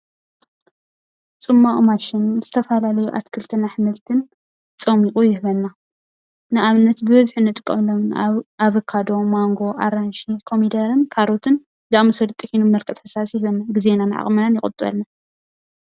ፅሟቅ ማሽን ዝተፈላለዩ ኣትክልትን ኣሕምልትን ፆሚቁ ይህበና ንኣብነት:- ብበዝሒ ንጥቀመሎም ኣበካዶ፣ ማንጎ ፣ ኣራንሺ፣ ኮሚደረን ካሮትን ዝኣመሰሉ ጢሒኑ ብመልክዕ ፈሳሲ ይህበና። ግዜናን ዓቅምናን ይቁጥበልና ።